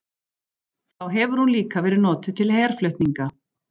Þá hefur hún líka verið notuð til herflutninga.